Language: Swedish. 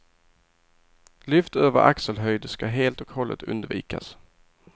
Lyft över axelhöjd ska helt och hållet undvikas.